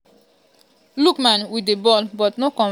lookman wit di ball but no convert to goal oooo.